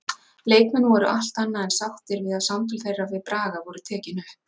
Leikmenn voru allt annað en sáttir við að samtöl þeirra við Braga voru tekin upp.